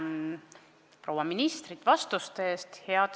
Tänan proua ministrit vastuste eest!